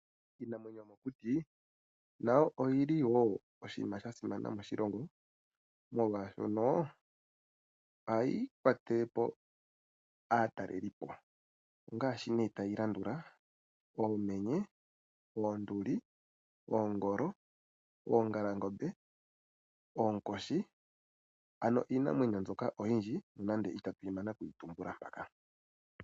Iinamwenyo yo mokuti nayo oyili wo oshinima sha simana moshilongo, molwaashono ohayi kwatele po aatalelipo. Ongaashi nee tayi landula Oomenye, Oonduli, Oongolo, Oongalangombe, Oonkoshi. Ano iinamwenyo mbyoka oyindji nonandi ita tuyi mana okuyi tumbula mpaka.